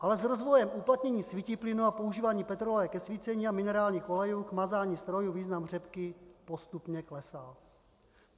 Ale s rozvojem uplatnění svítiplynu a používáním petroleje ke svícení a minerálních olejů k mazání strojů význam řepky postupně klesal.